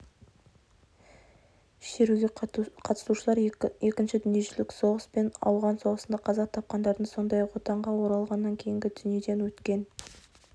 шеруге қатысушылар екінші дүниежүзілік соғыс пен ауған соғысында қаза тапқандардың сондай-ақ отанға оралғаннан кейін дүниеден өткен